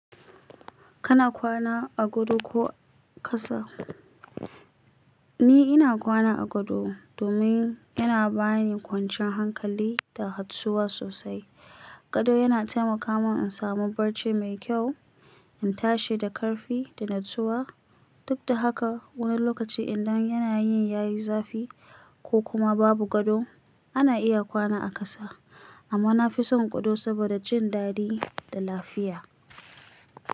Kana kwana a gado ko a ƙasa? Ni ina kwana a gado domin yana bani kwanciyan hankali da hatsuwa sosai. Gado yana taimaka mun in samu barci mai kyau, in tashi da ƙarfi da nutsuwa. Duk da haka, wani lokaci idan yana yin yayi zafi ko kuma babu gado, ana iya kwana a ƙasa. Amma na fi son gado saboda jin daɗi da lafiya.